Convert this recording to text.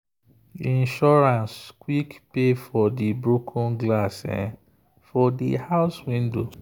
insurance quick pay for the broken glass for the house window.